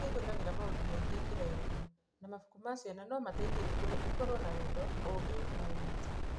Ciana nĩ ihũthagĩra maũndũ maingĩ ikĩrerũka, na mabuku ma ciana no mateithie ikũre ikorũo na wendo, ũũgĩ, na ũrata.